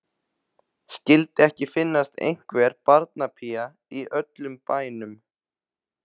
Skyldi ekki finnast einhver barnapía í öllum bænum.